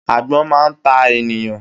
Agbón máa ta ènìyàn